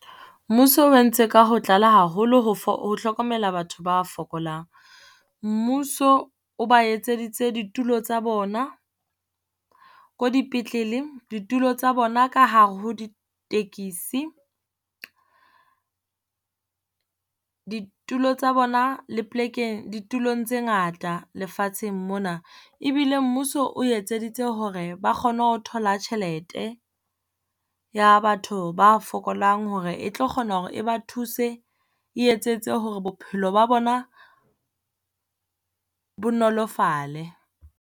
Mmuso o entse ka ho tlala haholo ho ho hlokomela batho ba fokolang. Mmuso o ba etseditse ditulo tsa bona ko dipetlele, ditulo tsa bona ka hare ho ditekisi, ditulo tsa bona le plekeng di tulong tse ngata lefatsheng mona. Ebile mmuso o etseditse hore ba kgone ho thola tjhelete ya batho ba fokolang hore e tlo kgona hore ba thuse. E etsetse hore bophelo ba bona bo nolofale.